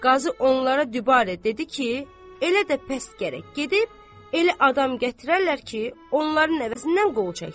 Qazı onlara dübarə dedi ki, elə də pəs gərək gedib, elə adam gətirərlər ki, onların əvəzindən qol çəksin.